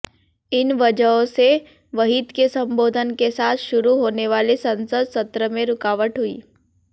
इन वजहों से वहीद के संबोधन के साथ शुरू होनेवाले संसद सत्र में रुकावट हुई